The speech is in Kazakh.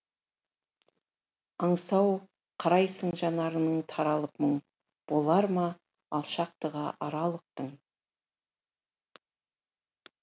аңсау қарайсың жанарыңнан таралып мұң болар ма алшақтығы аралықтың